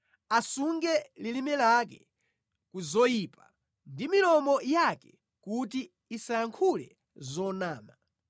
asunge lilime lake ku zoyipa ndi milomo yake kuti isayankhule zonama.